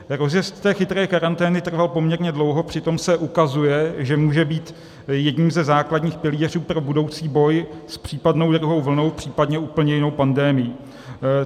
Rozjezd té chytré karantény trval poměrně dlouho, přitom se ukazuje, že může být jedním ze základních pilířů pro budoucí boj s případnou druhou vlnou, případně úplně jinou pandemií.